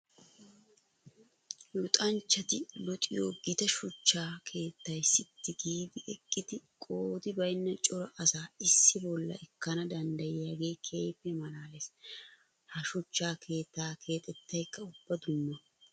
Luxanchchatti luxiyo gita shuchcha keettay sitti giidi eqiddi qoodi baynna cora asaa issi bolla ekkana danddaiyoge keehippe malaales. Ha shuchcha keetta kexxettaykka ubba dumma.